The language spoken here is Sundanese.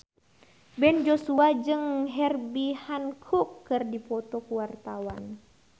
Ben Joshua jeung Herbie Hancock keur dipoto ku wartawan